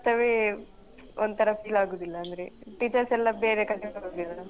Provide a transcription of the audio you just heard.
ಅದು ನಮ್ಮ school ಅಂತವೇ ಒಂತರ feel ಆಗುದಿಲ್ಲ ಅಂದ್ರೆ teachers ಎಲ್ಲಾ ಬೇರೆ ಕಡೆ ಹೋಗಿದರಲ್ಲ.